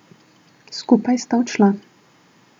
Skupaj sta odšla.